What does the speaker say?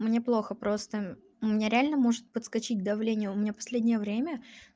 мне плохо просто у меня реально может подскочить давление у меня последнее время